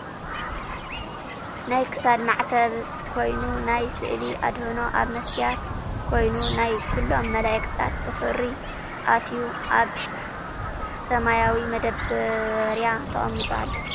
ናይ ክሳድ ማዕተብ ኮይኑ ናይ ስእሊ ኣድህኖ ኣብ መስትያት ኮይኑ ናይ ኩሎም መላእክታት ብክሪ ኣትዩ ኣብ ሰማያዊ መዳበርያ ተቀሚጡ ኣሎ።